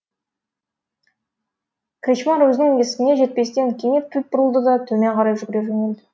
кречмар өзінің есігіне жетпестен кенет кілт бұрылды да төмен қарай жүгіре жөнелді